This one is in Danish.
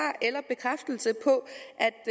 eller bekræftelse på